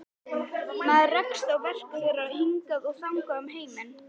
Maður rekst á verk þeirra hingað og þangað um heiminn.